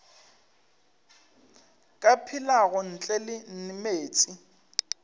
ka phelago ntle le meetse